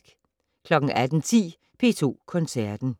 18:10: P2 Koncerten